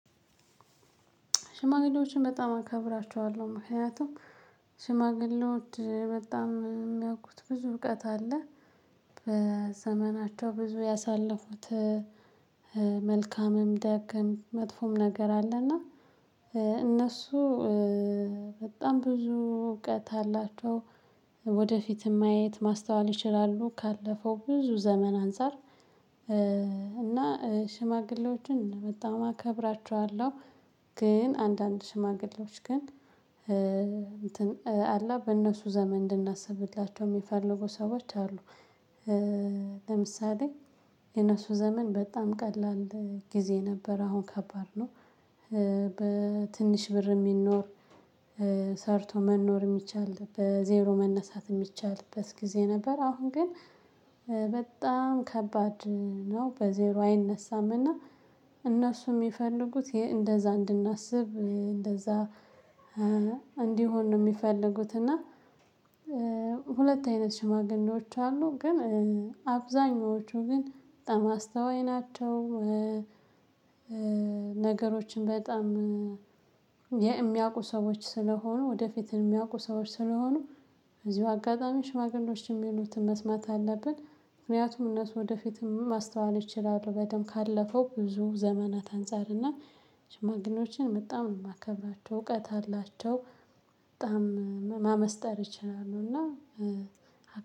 ሽማግሌዎችን በጣም አከብራቸዋለሁ ምክንያቱም ሽማግሌዎች በጣም የሚያውቁት ብዙ እውቀት አለ በዘመናቸው ብዙ ያሳለፉት መልካምም ደግሞ መጥፎም ነገር አለ እና እነሱ በጣም ብዙ እውቀት አላቸው ወደፊትም ማየት ማስተዋል ይችላሉ ካለፈው ብዙ ዘመን አንፃር እና ሽማግሌዎችን በጣም አከብራቸዋለሁ። ግን አንዳንድ ሽማግሌዎች ግን እንትን አለ በእነሱ ዘመን እንድናስብላቸው የሚፈልጉ ሰዎች አሉ። ለምሳሌ የነሱ ዘመን በጣም ቀላል ጊዜ ነበር አሁን ከባድ ነው። በትንሽ ብር የሚኖር ሰርቶ መኖር የሚቻል በዜሮ መነሳት ሚቻልበት ጊዜ ነበር። አሁን ግን በጣም ከባድ ነው። በዜሮ አይነሳምና እነሱ የሚፈልጉት እንደዛ እንድናስብ እንደዛ እንዲሆን ነው የሚፈልጉት። እና ሁለት አይነት ሽማግሌዎች አሉ ግን አብዛኞቹ ግን በጣም አስተዋይ ናቸው። ነገሮችን በጣም የሚያውቁ ሰዎች ስለሆኑ ወደፊትን እሚያውቁ ሰዎች ስለሆኑ በዚሁ አጋጣሚ ሽማግሌዎች እሚሉትን መስማት አለብን። ምክንያቱም እነሱ ወደፊትም ማስተዋል ይችላሉ በደንብ ካለፈው ብዙ ዘመናት አንፃር እና ሽማግሌዎችን በጣም የማከብራቸው እውቀት አላቸው። በጣም ማመስጠር ይችላሉ እና